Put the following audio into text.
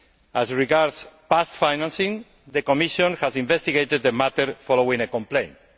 As regards past financing, the Commission has investigated the matter following a complaint.